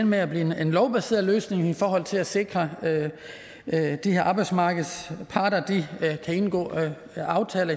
med at blive en lovbaseret løsning i forhold til at sikre at arbejdsmarkedets parter kan indgå aftaler